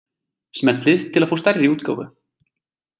Smellið til að fá stærri útgáfu.